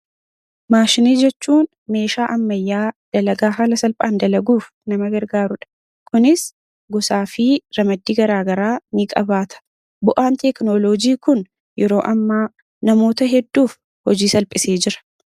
Maashinii jechuun meeshaa ammayyaa dalagaa haala salphaan dalaguuf nama gargaarudha. Kunis gosaa fi ramaddii garaa garaa ni qabaata. Bu'aan teekinooloojii kun yeroo ammaa namoota hedduuf hojii salphisee jira.